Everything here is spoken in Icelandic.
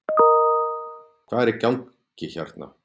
Hvað er í gangi hérna